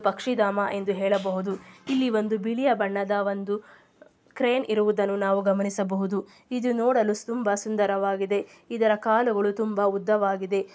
ಪಕ್ಷಿಧಾಮ ಎಂದು ಹೇಳಬಹುದು. ಇಲ್ಲಿ ಒಂದು ಬಿಳಿಯ ಬಣ್ಣದ ಒಂದು ಕ್ರೇನ್ ಇರುವುದನ್ನು ನಾವು ಗಮನಿಸಬಹುದು. ಇದು ನೋಡಲು ತುಂಬಾ ಸುಂದರವಾಗಿದೆ. ಇದರ ಕಾಲುಗಳು ತುಂಬಾ ಉದ್ದವಾಗಿದೆ.